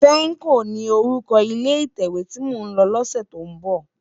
Fèmkó ni órúkò ilé itèwé ti mó n lò lòsè tó n bò